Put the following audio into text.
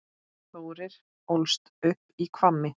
Þórir ólst upp í Hvammi.